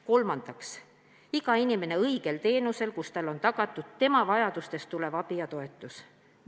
Kolmandaks, iga inimene saab õiget teenust, millega on tagatud tema vajadustest tulenev abi ja toetus.